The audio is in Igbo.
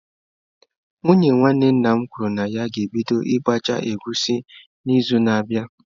Nwunye nwanne nna m kwuru na ya ga-ebido ịgbacha egusi n'izu na-abịa.